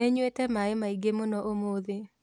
Nĩnyuĩte maĩ maingĩ mũno ũmũthĩ